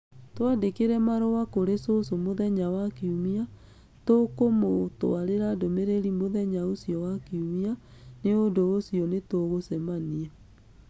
Twandĩkĩre marũa kũrĩ cũcũ mũthenya wa Kiumia. Tũkũmũtwarĩra ndũmĩrĩri mũthenya ũcio wa Kiumia. Nĩ ũndũ ũcio nĩtũgũcemania.